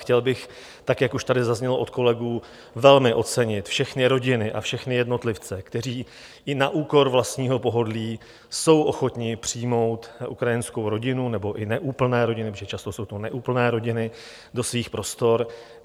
Chtěl bych, tak jak už tady zaznělo od kolegů, velmi ocenit všechny rodiny a všechny jednotlivce, kteří i na úkor vlastního pohodlí jsou ochotni přijmout ukrajinskou rodinu, nebo i neúplné rodiny, protože často to jsou neúplné rodiny, do svých prostor.